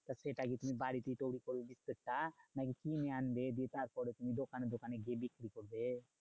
তা সেটা কি তুমি বাড়িতেই তৈরী করবে সেটা? নাকি কিনে আনবে দিয়ে তারপরে তুমি দোকানে দোকানে গিয়ে বিক্রি করবে?